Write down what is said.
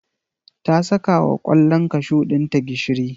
ta saka wa kwallon kashu ɗinta gishiri.